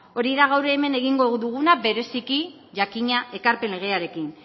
hori da gaur hemen egingo duguna bereziki jakina ekarpen legearekin